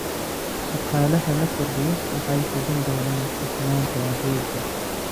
Shaqaalaha la kordhiyo waxay hubin doonaan hufnaanta adeegga.